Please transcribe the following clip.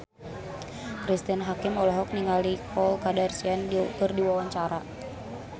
Cristine Hakim olohok ningali Khloe Kardashian keur diwawancara